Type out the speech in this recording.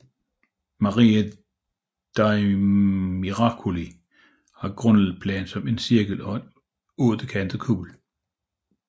Maria dei Miracoli har grundplan som en cirkel og en ottekantet kuppel